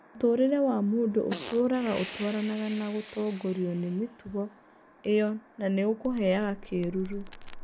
Mũtũũrĩre wa mũndũ ũtũũraga atwaranaga na gũtongorio nĩ mĩtugo ĩyona nĩ ũkũheaga kĩĩruru.